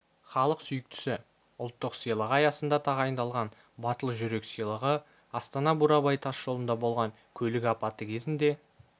халық сүйіктісі ұлттық сыйлығы аясында тағайындалған батыл жүрек сыйлығы астана-бурабай тас жолында болған көлік апаты кезінде